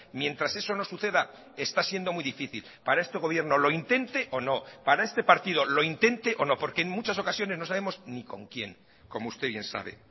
mientras eso no suceda está siendo muy difícil para este gobierno lo intente o no para este partido lo intente o no porque en muchas ocasiones no sabemos ni con quién como usted bien sabe